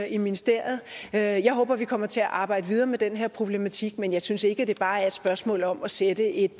i ministeriet jeg håber at vi kommer til at arbejde videre med den her problematik men jeg synes ikke at det bare er et spørgsmål om at sætte et